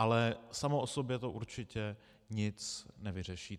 Ale samo o sobě to určitě nic nevyřeší.